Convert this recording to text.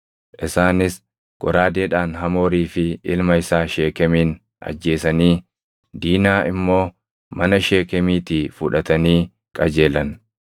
Isaanis goraadeedhaan Hamoorii fi ilma isaa Sheekemin ajjeesanii Diinaa immoo mana Sheekemiitii fudhatanii qajeelan.